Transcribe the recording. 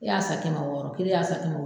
I y'a san kɛmɛ wɔɔrɔ kelen y'a san kɛmɛ